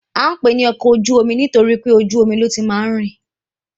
À ń pè é ní ọkọ ojú-omi nitoripe ojú omi ní ó ti máa ń rìn